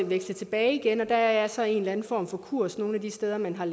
veksle tilbage igen og der er så en eller anden form for kurs nogle af de steder man har